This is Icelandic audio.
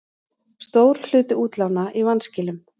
Stór hluti útlána í vanskilum